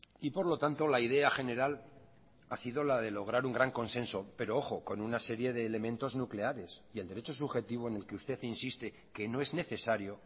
y por lo tanto la idea general ha sido la de lograr un gran consenso pero ojo con una serie de elementos nucleares y el derecho subjetivo en el que usted insiste que no es necesario